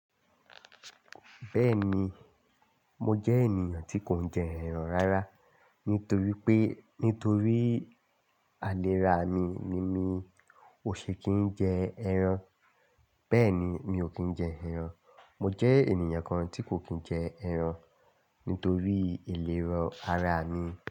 Bẹ́ẹ̀ni, mo jẹ́ ènìyàn tí kò ń jẹ ẹran rárá. Nítorí pé, nítorí àlè rá mi ní mi ò ṣe kí ń jẹ ẹran. Bẹ́ẹ̀ni, mi ò kí ń jẹ ẹran. Mo jẹ́ ènìyàn kan tí kò kí ń jẹ ẹran nítorí ìlera ara mi.